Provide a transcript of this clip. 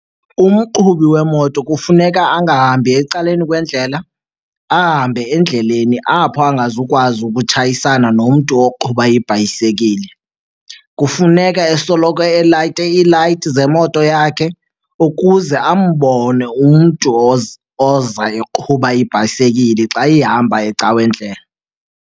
Umqhubi wemoto kufuneka angahambi ecaleni kwendlela, ahambe endleleni apho angazukwazi ukutshayisana nomntu oqhuba ibhayisekile. Kufuneka esoloko elayite iilayiti zemoto yakhe ukuze ambone umntu oza eqhuba ibhayisikile xa ihamba eca'kwendlela.